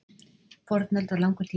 fornöld var langur tími